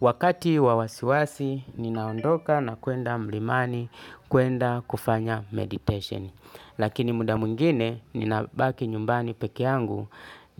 Wakati wa wasiwasi, ninaondoka na kwenda mlimani, kwenda kufanya meditation. Lakini muda mwingine, nina baki nyumbani pekee yangu